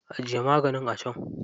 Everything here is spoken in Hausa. Ajiye maganin a can.